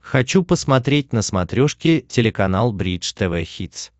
хочу посмотреть на смотрешке телеканал бридж тв хитс